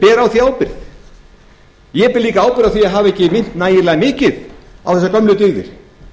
ber á því ábyrgð ég ber líka ábyrgð á því að hafa ekki minnt nægilega mikið á þessar gömlu dyggðir